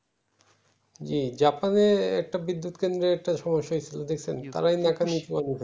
জী জাপান এর একটা বিদ্যুৎ কেদ্র্রে একটা সম্যসা হচ্ছিলো দেখছেন তারাই ন্যাকামি